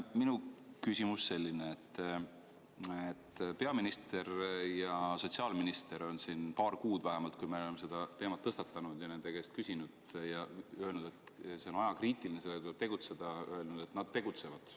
Minu küsimus on selle kohta, et peaminister ja sotsiaalminister on siin vähemalt paar kuud, kui me oleme seda teemat tõstatanud, nende käest küsinud ja rääkinud, et see on ajakriitiline ja tuleb tegutseda, öelnud, et nad tegutsevad.